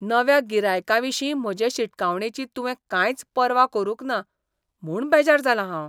नव्या गिरायकाविशीं म्हजे शिटकावणेची तुवें कांयच पर्वा करूंक ना म्हूण बेजार जालां हांव.